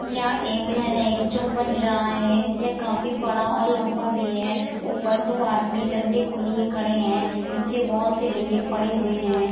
यं एक घर है जो बन रहा है। य काफी बड़ा और लंबा भी है ऊपर दो आदमी डंडे को लिए खड़े हैं नीचे बहुत से डंडे पड़े हुए हैं।